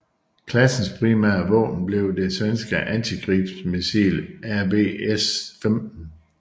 Klassens primære våben blev det svenske antiskibsmissil RBS15